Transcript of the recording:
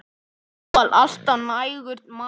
Þó var alltaf nægur matur.